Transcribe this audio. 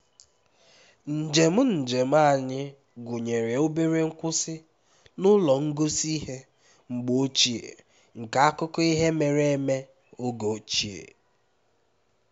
njem njem anyị gụnyere obere nkwụsị n'ụlọ ngosi ihe mgbe ochie nke akụkọ ihe mere eme oge ochie